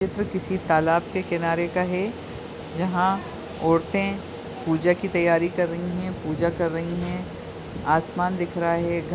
चित्र किसी तालाब के किनारे का है जहाँ औरतें पूजा की तैयारी कर रही है पूजा कर रही है आसमान दिख रहा है।